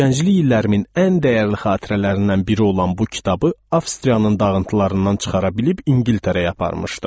Gənclik illərimin ən dəyərli xatirələrindən biri olan bu kitabı Avstriyanın dağıntılarından çıxara bilib İngiltərəyə aparmışdım.